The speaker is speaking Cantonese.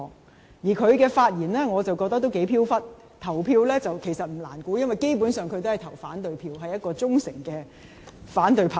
我認為他的發言頗飄忽，投票意向不難預測，因他基本上是投反對票，是一位忠誠反對派。